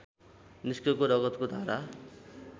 निस्केको रगतको धारा